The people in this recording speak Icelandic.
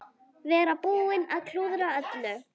Vera búinn að klúðra öllu.